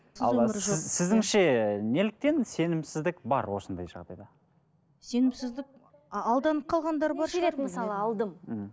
ал сіз сіздіңше неліктен сенімсіздік бар осындай жағдайда сенімсіздік алданып қалғандар бар шығар мхм